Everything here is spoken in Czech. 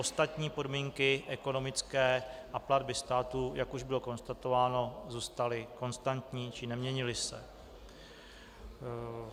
Ostatní podmínky ekonomické a platby státu, jak už bylo konstatováno, zůstaly konstantní či neměnily se.